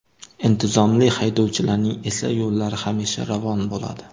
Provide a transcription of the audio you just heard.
Intizomli haydovchilarning esa yo‘llari hamisha ravon bo‘ladi.